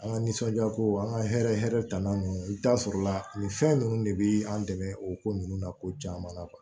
An ka nisɔndiya ko an ka hɛrɛ hɛrɛ tanna ninnu i bɛ taa sɔrɔla nin fɛn ninnu de bɛ an dɛmɛ o ko ninnu na ko caman na kuwa